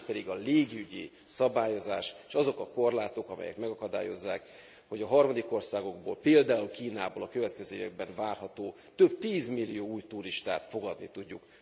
A másik pedig a légügyi szabályozás, s azok a korlátok, amelyek megakadályozzák, hogy harmadik országokból, például Kínából a következő években várható több tízmillió új turistát fogadni tudjuk.